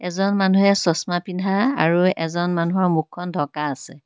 এজন মানুহে চচমা পিন্ধা আৰু এজন মানুহৰ মুখখন ঢকা আছে।